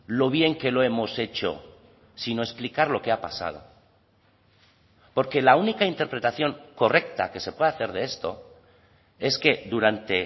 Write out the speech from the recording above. lo bien que lo hemos hecho sino explicar lo que ha pasado porque la única interpretación correcta que se puede hacer de esto es que durante